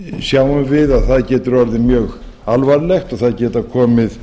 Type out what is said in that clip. sjáum við að það getur orðið mjög alvarlegt og það geta komið